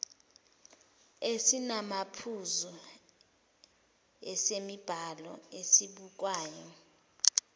esinamaphuzu esemibhalo esibukwayo